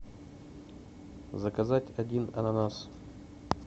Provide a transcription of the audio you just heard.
заказать один ананас